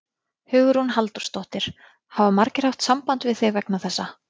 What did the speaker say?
Hugrún Halldórsdóttir: Hafa margir haft samband við þig vegna þessa?